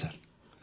ଆଜ୍ଞା ସାର୍